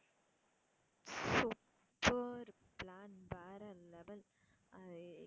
super plan வேற level ஆஹ்